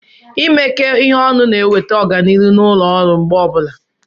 imekọ ihe ọnụ na-eweta ọganihu na ụlọ ọrụ mgbe ọbụla.